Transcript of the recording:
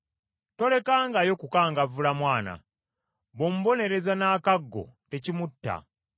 Tolekangayo kukangavvula mwana, bw’omubonereza n’akaggo tekimutta.